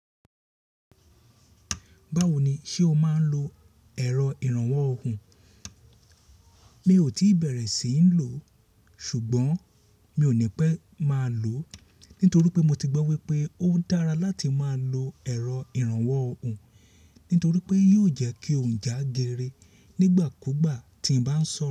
Báwo ni ṣe o máa ń lo ẹ̀rọ ìrànwọ́ ọhùn? Mi ò tí bẹ̀rẹ̀ sí ní lò, ṣùgbọ́n mi ò ní pẹ́ máa lò ó, nítorí pé mo ti gbọ́ wípé ó dára láti máa lo ẹ̀rọ ìrànwọ́ ọhùn, nítorí pé yóò jẹ́ kí ọ̀ún já gere nígbà kú gbà tí ń bá ń soro.